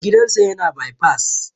Gidan sa yana bai fas